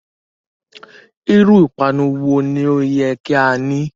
Iru ipanu wo ni o yẹ ki a ni?